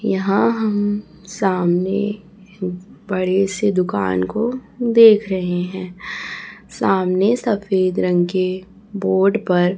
यहाँ हम सामने बड़े से दुकान को देख रहे है सामने सफेद रंग के बोर्ड पर --